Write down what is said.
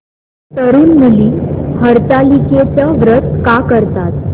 तरुण मुली हरतालिकेचं व्रत का करतात